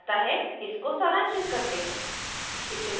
इसको सारांशित करते हैं